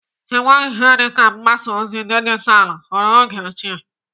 Enweghị ihe dịka mgbasa ozi dijitalû n'oge ochie.